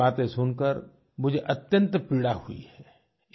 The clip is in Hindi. ऐसी बातें सुनकर मुझे अत्यंत पीड़ा हुई है